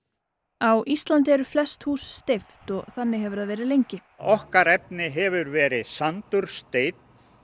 á Íslandi eru flest hús steypt og þannig hefur það verið lengi okkar efni hefur verið sandur steinn